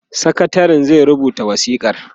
sakatarin zai rubuta wasikar